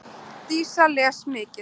Dísa les mikið.